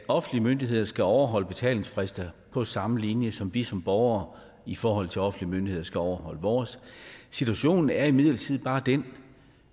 offentlige myndigheder skal overholde deres betalingsfrister på samme linje som vi som borgere i forhold til offentlige myndigheder skal overholde vores situationen er imidlertid bare den